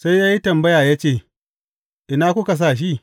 Sai ya yi tambaya ya ce, Ina kuka sa shi?